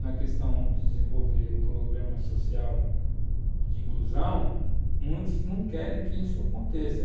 na questão de desenvolver o programa social de inclusão, muitos não querem que isso aconteça.